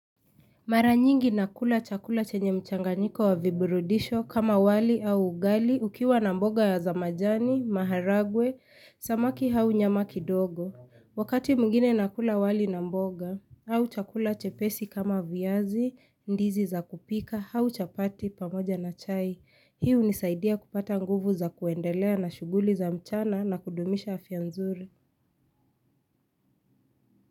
Mara nyingi nakula chakula chenye mchanganiko wa viburudisho kama wali au ugali ukiwa na mboga ya za majani, maharagwe, samaki au nyama kidogo. Wakati mwingine nakula wali na mboga au chakula chepesi kama viazi, ndizi za kupika, au chapati pamoja na chai. Hii hunisaidia kupata nguvu za kuendelea na shuguli za mchana na kudumisha afya nzuri.